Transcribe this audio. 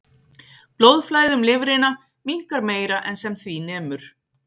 Blóðflæði um lifrina minnkar meira en sem því nemur.